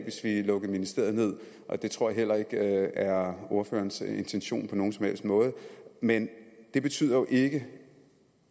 hvis vi lukkede ministeriet ned og det tror jeg heller ikke er ordførerens intention på nogen som helst måde men det betyder jo ikke